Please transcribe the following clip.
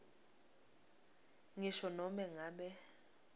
ngisho nobe ngabe